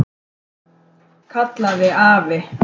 kallaði afi.